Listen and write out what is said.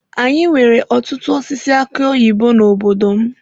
Anyị nwere ọtụtụ osisi aki oyibo n'obodo m.